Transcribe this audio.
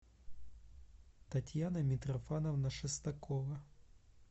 татьяна митрофановна шестакова